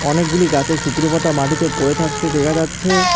অনেকগুলি গাছের শুকনো পাতা মাটিতে পড়ে থাকতে দেখা যাচ্ছে।